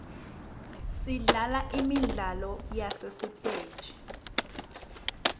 sidlala imidlalo yasesiteji